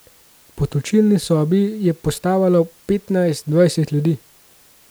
Po točilni sobi je postavalo petnajst, dvajset ljudi.